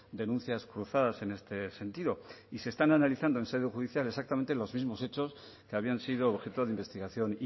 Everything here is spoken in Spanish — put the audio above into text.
denuncias cruzadas en este sentido y se están analizando en sede judicial exactamente los mismos hechos que habían sido objeto de investigación